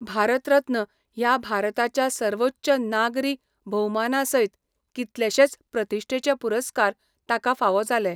भारत रत्न' ह्या भारताच्या सर्वोच्च नागरी भोवमानासयत कितलेशेच प्रतिश्ठेचे पुरस्कार ताका फावो जाले.